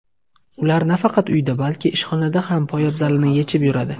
Ular nafaqat uyda, balki ishxonada ham poyabzalini yechib yuradi.